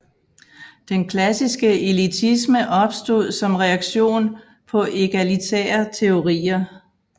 Den klassiske elitisme opstod som reaktion på egalitære teorier